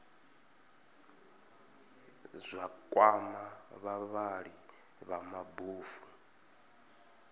zwa kwama vhavhali vha mabofu